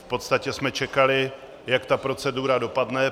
V podstatě jsme čekali, jak ta procedura dopadne.